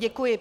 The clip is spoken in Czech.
Děkuji.